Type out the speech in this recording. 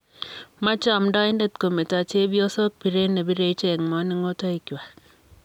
Mochei amdoindet kometo chepyosok biret nebire ichek moningotoikwak.